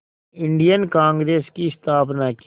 Indian Congress की स्थापना की